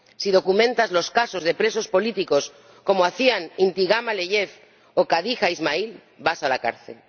si documentas los casos de presos políticos, como hacían Intigam Aliyev o Khadija Ismayilova, vas a la cárcel.